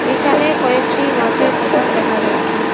এখানে কয়েকটি মাছের দোকান দেখা যাচ্ছে.।